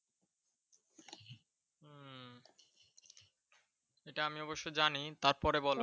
এটা আমি অবশ্য জানি। তারপরে বলো ।